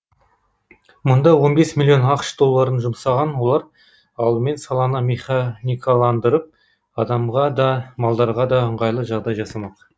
мұнда он бес миллион ақш долларын жұмсаған олар алдымен саланы механикаландырып адамға да малдарға да ыңғайлы жағдай жасамақ